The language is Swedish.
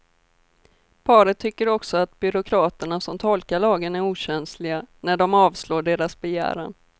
Paret tycker också att byråkraterna som tolkar lagen är okänsliga när de avslår deras begäran.